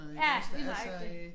Ja lige nøjagtig